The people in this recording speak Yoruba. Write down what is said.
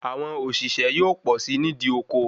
Awọn òṣìṣẹ́ yóò pọ̀ si nìdí oko